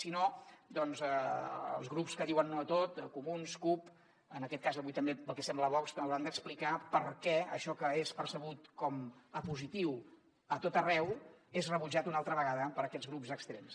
si no els grups que diuen no a tot comuns cup en aquest cas avui també pel que sembla vox hauran d’explicar per què això que és percebut com a positiu a tot arreu és rebutjat una altra vegada per aquests grups extrems